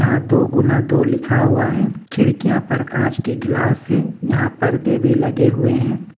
यहां दो गुना दो तो लिखा हुआ है खिड़कियां पर कांच की ग्लास है यहां पर्दे भी लगे हुए हैं।